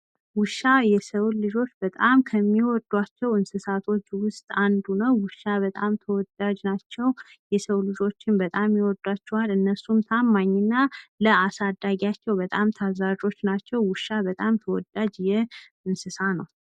ውሻ የሰው ልጆች ከሚወዷቸው እንስሳቶች ውስጥ አንዱ ነው ።ውሻ በጣም ተወዳጅ ናቸው ።የሰዉ ልጆች ይወዷቸዋል። እነሱም በጣም ታማኝና ለአሳዳጊያቸው ታዛዥ ናቸው። ውሻ በጣም ተወዳጅ እንስሳት ነው ።